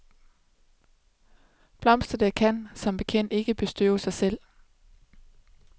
Blomsterne kan som bekendt ikke bestøve sig selv.